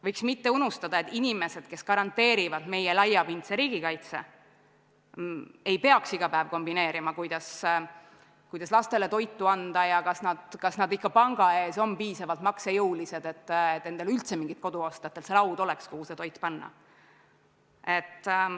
Võiks mitte unustada, et inimesed, kes garanteerivad meie laiapindse riigikaitse, ei peaks iga päev kombineerima kuidas lastele toitu anda ja kas nad ikka panga ees on piisavalt maksejõulised, et endale üldse mingit kodu osta, et tal see laud oleks, kuhu see toit panna.